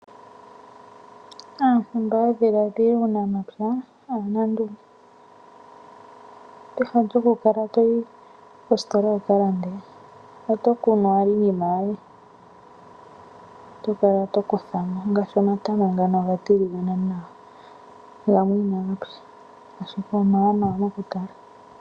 Aantu mba ya dhiladhila uunamapya aanandunge peha lyoku kala toyi koositola wu ka lande. Oto kununowaka iinima yoye, eto kala to kutha mo, ngaashi omatama ngano oga tiligaba nawa, gamer inaga tsa, ashike omawanawa mokutala.